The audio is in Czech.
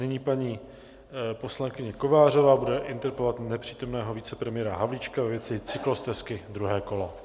Nyní paní poslankyně Kovářová bude interpelovat nepřítomného vicepremiéra Havlíčka ve věci cyklostezky, druhé kolo.